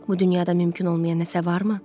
Bu dünyada mümkün olmayan nəsə varmı?